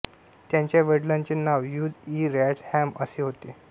त्यांच्या वडिलांचे नाव ह्यूज इ रॉडहॅम असे होते